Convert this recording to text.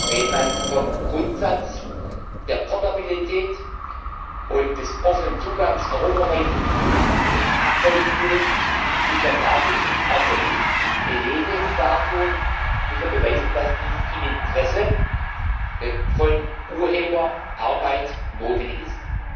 sind. Wenn man vom Grundsatz der Portabilität und des offenen Zugangs europaweit abweichen will, muss man dafür das gilt auch für mich Belege dartun, muss man beweisen, dass dies im Interesse von Urheberarbeit notwendig